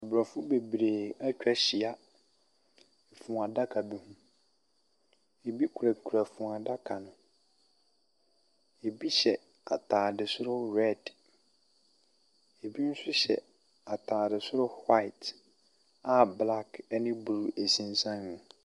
Aborɔfo bebree atwa ahyia funu adaka bu ho. Ɛbi kurakura funu adaka no. Ɛbi hyɛ atadeɛ soro red. Ɛbi nso hyɛ atadeɛ soro white a black ne blue sensan mu.